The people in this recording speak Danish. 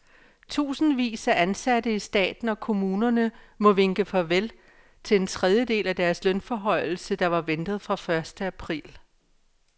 Tusindvis af ansatte i staten og kommunerne må vinke farvel til en tredjedel af deres lønforhøjelse, der var ventet fra første april.